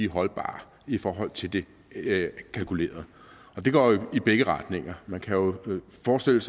holdbare i forhold til det kalkulerede og det går jo i begge retninger vi kan jo forestille